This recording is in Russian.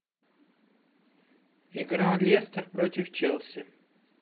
игра лестер против челси